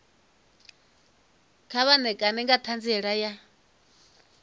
vha ṋekane nga ṱhanziela ya